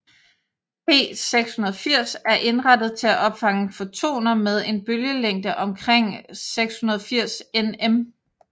P680 er indrettet til at opfange fotoner med en bølgelængde omkring 680 nm